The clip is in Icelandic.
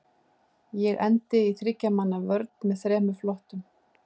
Ég endi í þriggja manna vörn með þremur flottum.